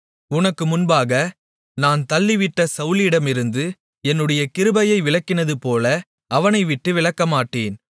உனக்கு முன்பாக நான் தள்ளிவிட்ட சவுலிடமிருந்து என்னுடைய கிருபையை விலக்கினதுபோல அவனைவிட்டு விலக்கமாட்டேன்